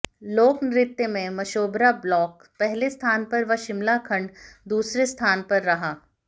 लोक नृत्य में मशोबरा ब्लॉक पहले स्थान पर व शिमला खंड दूसरे स्थान पर रहा